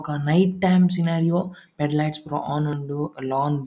ಬೊಕ night time scenario fade lights ಪುರ on ಉಂಡು ಲಾಂಗ್ --